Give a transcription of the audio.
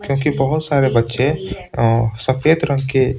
क्योंकि बहुत सारे बच्चे सफेद रंग के--